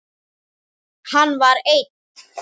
Hann var einn.